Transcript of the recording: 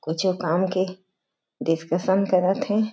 कुछू काम के डिस्कशन करत हें।